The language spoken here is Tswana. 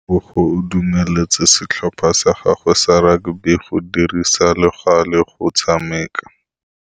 Tebogô o dumeletse setlhopha sa gagwe sa rakabi go dirisa le galê go tshameka.